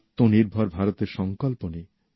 আত্মনির্ভর ভারতের সংকল্প নিই